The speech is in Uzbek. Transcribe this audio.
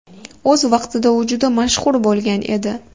O‘z vaqtida u juda mashhur bo‘lgan edi.